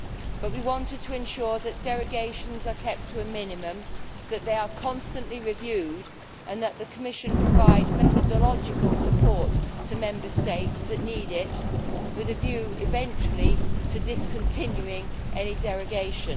but we wanted to ensure that derogations are kept to a minimum, that they are constantly reviewed and that the Commission provides methodological support for Member States that need it, with a view eventually to discontinuing any derogation.